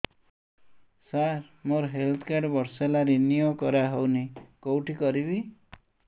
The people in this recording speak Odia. ସାର ମୋର ହେଲ୍ଥ କାର୍ଡ ବର୍ଷେ ହେଲା ରିନିଓ କରା ହଉନି କଉଠି କରିବି